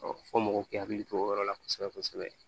fɔ mɔgɔw k'u hakili to o yɔrɔ la kosɛbɛ kosɛbɛ